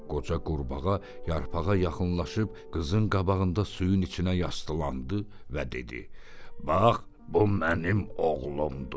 Qoca qurbağa yarpağa yaxınlaşıb qızın qabağında suyun içinə yasdılandı və dedi: "Bax, bu mənim oğlumdur.